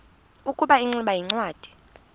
ukuba ingximba yincwadi